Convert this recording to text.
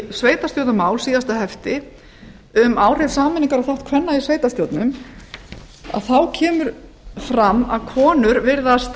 í sveitarstjórnarmál síðasta hefti um áhrif sameiningar og þátt kvenna í sveitarstjórnum kemur fram að konur virðast